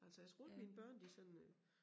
Altså jeg tror ikke mine børn de sådan øh